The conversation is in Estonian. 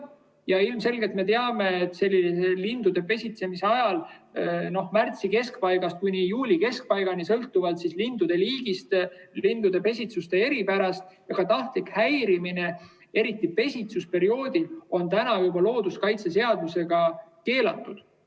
Me ilmselgelt teame, et lindude pesitsemise ajal märtsi keskpaigast kuni juuli keskpaigani, sõltuvalt linnuliigist ja lindude pesitsuse eripärast, tahtlik häirimine, eriti pesitsusperioodil, on juba looduskaitseseadusega keelatud.